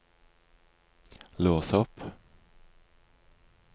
lås opp